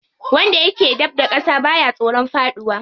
Wanda yake dab da ƙasa baya tsoron faɗuwa.